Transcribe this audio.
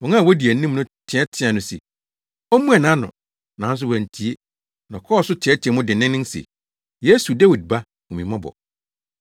Wɔn a wodi anim no teɛteɛɛ no se ommua nʼano, nanso wantie, na ɔkɔɔ so teɛteɛɛ mu denneennen se, “Yesu, Dawid Ba, hu me mmɔbɔ!”